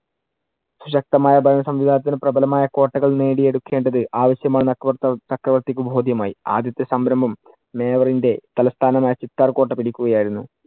ശക്തമായ ഭരണസംവിധാനത്തിൽ പ്രബലമായ കോട്ടകൾ നേടിയെടുക്കേണ്ടത് ആവശ്യം ആണെന്ന് അക്ബർ ചക്രവർത്തിക്ക് ബോദ്ധ്യം ആയി. ആദ്യത്തെ സംരംഭം തലസ്ഥാനമായ ചിത്താർ കോട്ട പിടിക്കുകയായിരുന്നു.